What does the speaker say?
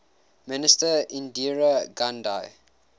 minister indira gandhi